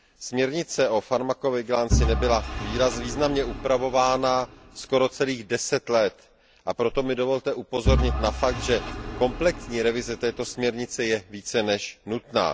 Směrnice o farmakovigilanci nebyla významně upravována skoro celých deset let, a proto mi dovolte upozornit na fakt, že komplexní revize této směrnice je více než nutná.